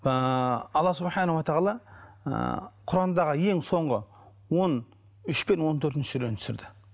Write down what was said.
ыыы алла ы құрандағы ең соңғы он үш пен он төртінші сүрені түсірді